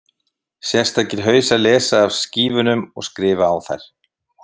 Sérstakir hausar lesa af skífunum og skrifa á þær.